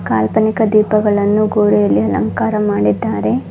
ಕಾಲ್ಪನಿಕ ದೀಪಗಳನ್ನು ಗೋಡೆಯಲ್ಲಿ ಅಲಂಕಾರ ಮಾಡಿದ್ದಾರೆ.